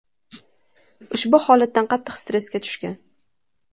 ushbu holatdan qattiq stressga tushgan.